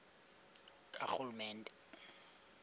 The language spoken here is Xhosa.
karhulumente